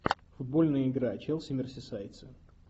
футбольная игра челси мерсисайдцы